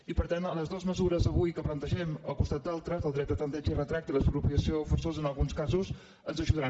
i per tant les dues mesures d’avui que plantegem al costat d’altres del dret de tempteig i retracte i l’expropiació forçosa en alguns casos ens ajudaran